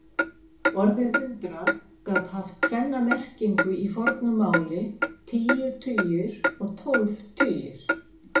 Orðið hundrað gat haft tvenna merkingu í fornu máli, tíu tugir og tólf tugir.